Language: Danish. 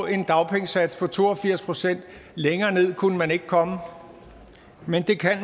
en dagpengesats på to og firs procent længere ned kunne den ikke komme men det kan